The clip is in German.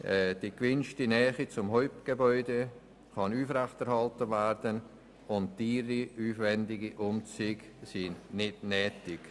Die gewünschte Nähe zum Hauptgebäude kann aufrechterhalten werden und teure, aufwendige Umzüge sind nicht nötig.